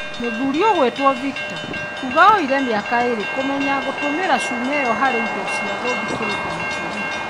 Mũthuri ũgwĩtwo Victor kuga yoire mĩaka ĩrĩ kũmenya gũtũmĩra cuma ĩyo harĩ indo cia gũthikĩrĩria matũ-inĩ.